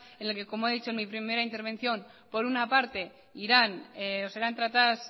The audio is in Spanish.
en el que como he dicho en mi primera intervención por una parte irán o serán tratadas